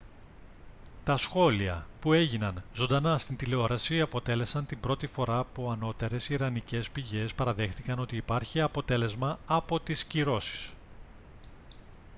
τα σχόλια που έγιναν ζωντανά στην τηλεόραση αποτέλεσαν την πρώτη φορά που ανώτερες ιρανικές πηγές παραδέχτηκαν ότι υπάρχει αποτέλεσμα από τις κυρώσεις